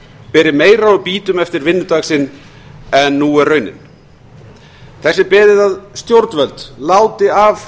beri meira úr býtum eftir vinnudag sinn en nú er raunin þess er beðið að stjórnvöld láti af